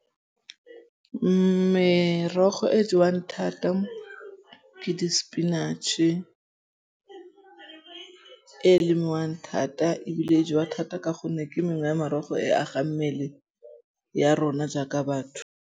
Merogo e jewang thata ke di spinach-e e lemiwang thata ebile e jewa thata ka gonne ke mengwe ya marogo e agang mmele ya rona jaaka batho.